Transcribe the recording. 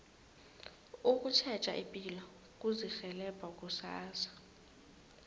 ukutjheja ipilo kuzirhelebha kusasa